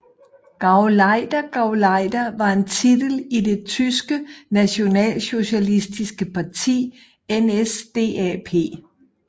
GauleiterGauleiter var en titel i det tyske nationalsocialistiske parti NSDAP